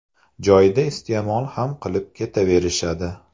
Joyida iste’mol ham qilib ketaverishadi.